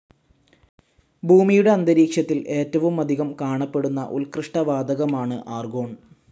ഭൂമിയുടെ അന്തരീക്ഷത്തിൽ ഏറ്റവുമധികം കാണപ്പെടുന്ന ഉൽകൃഷ്ടവാതകമാണ് ആർഗോൺ.